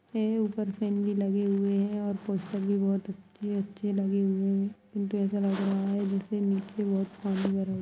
ये ऊपर फैन भी लगे हूए हैं और पोस्टर भी बहुत अच्छे-अच्छे लगे हुए हैं परन्तु ऐसा लग रहा जैसे निचे बहुत पानी भरा हुआ --